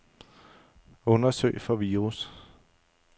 Undersøg for virus.